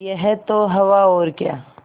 यह तो हवा और क्या